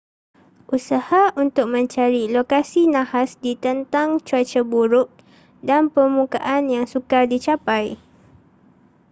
usaha untuk mencari lokasi nahas ditentang cuaca buruk dan permukaan yang sukar dicapai